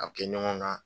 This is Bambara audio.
A bɛ kɛ ɲɔgɔn kan